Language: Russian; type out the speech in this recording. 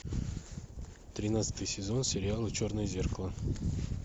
тринадцатый сезон сериала черное зеркало